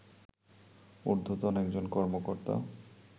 ঊর্ধ্বতন একজন কর্মকর্তা